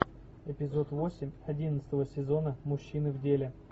эпизод восемь одиннадцатого сезона мужчины в деле